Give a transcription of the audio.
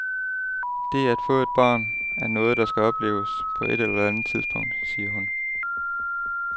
Det at få et barn, er noget, der skal opleves, på et eller andet tidspunkt, siger hun.